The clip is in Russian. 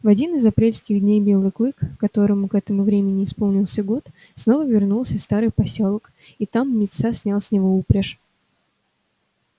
в один из апрельских дней белый клык которому к этому времени исполнился год снова вернулся в старый посёлок и там мит са снял с него упряжь